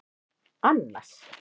Annas